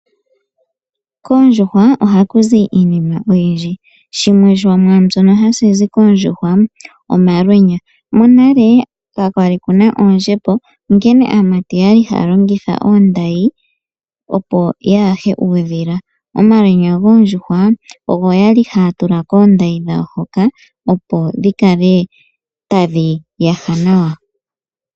Koondjuhwa ohaku zi iinima oyindji. Shimwe shomwaa mbyono hashi koondjuhwa omalwenya. Monale ka kwa li ku na oondjembo nonkene aamati oya li haya longitha oondayi, opo ya yahe uudhila. Omalwenya goondjuhwa ogo ya li haya tula koondayi dhawo hoka, opo dhi kale tadhi yaha nawa.